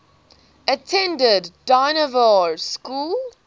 attended dynevor school